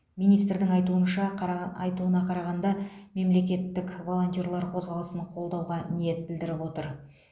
министрдің айтуынша қараған айтуына қарағанда мемлекет волонтерлар қозғалысын қолдауға ниет білдіріп отыр